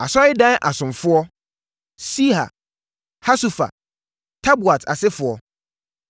Asɔredan asomfoɔ: 1 Siha, Hasufa, Tabaot asefoɔ, 1